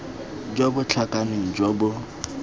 jo bo tlhakaneng jo bo